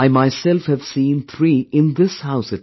I myself have seen three in this house itself